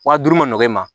Wa duuru ma nɔgɔ e ma